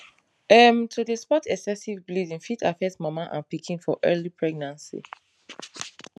um to dey spot excessive bleeding fit affect mama and pikin for early pregnancy